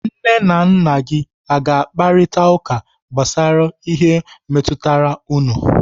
Nne na nna gi aga-akparita ụka gbasara ihe metụtara unu?